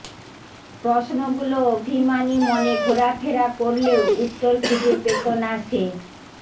প্রশ্নগুলো অভিমানী মনে ঘোরা ফেরা করলেও উত্তর খুঁজে পেত না সে